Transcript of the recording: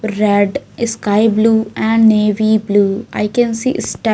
Red sky blue and navy blue i can see ste --